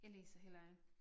Jeg læser heller ikke